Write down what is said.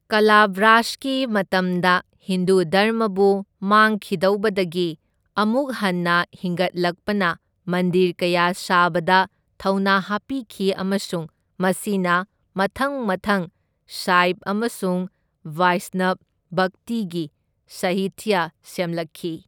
ꯀꯂꯚ꯭ꯔꯥꯁꯒꯤ ꯃꯇꯝꯗ ꯍꯤꯟꯗꯨ ꯙꯔꯃꯕꯨ ꯃꯥꯡꯈꯤꯗꯧꯕꯗꯒꯤ ꯑꯃꯨꯛ ꯍꯟꯅ ꯍꯤꯡꯒꯠꯂꯛꯄꯅ ꯃꯟꯗꯤꯔ ꯀꯌꯥ ꯁꯥꯕꯗ ꯊꯧꯅꯥ ꯍꯥꯞꯄꯤꯈꯤ ꯑꯃꯁꯨꯡ ꯃꯁꯤꯅ ꯃꯊꯪ ꯃꯊꯪ ꯁꯥꯏꯚ ꯑꯃꯁꯨꯡ ꯚꯥꯏꯁꯅꯚ ꯚꯛꯇꯤꯒꯤ ꯁꯥꯍꯤꯇ꯭ꯌ ꯁꯦꯝꯂꯛꯈꯤ꯫